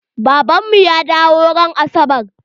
Baban mu ya dawo ran asabar.